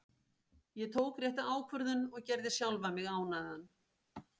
Ég tók rétta ákvörðun og gerði sjálfan mig ánægðan.